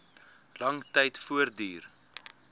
lang tyd voortduur